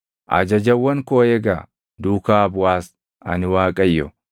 “Ajajawwan koo eegaa; duukaa buʼaas. Ani Waaqayyo.